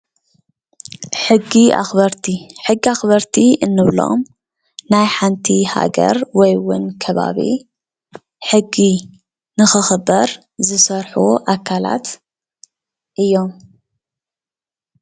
ሕጊ ኣኽበርቲ ሕጊ ኣኽበርቲ እንብሎም ናይ ሓንቲ ሃገር ወይ እውን ከባቢ ሕጊ ንኽኽበር ዝሰርሑ ኣካላት እዮም።